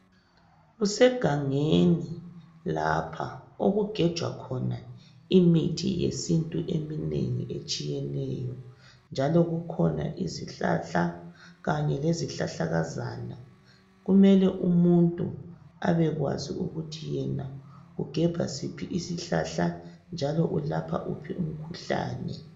kusegangeni lapha okugejwa khona imithi yesintu eminengi etshiyeneyo njalo kukhona izihlahla kanye lezihlahlakazana kumele umutnu abekwazi ukuthi yena ugebha siphi isihlahla njalo ulapha uphi umkhuhlane